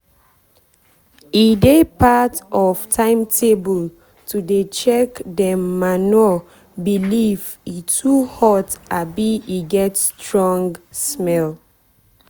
e dey part of timetable to dey check dem manure pileif e too hot abi e get strong smell.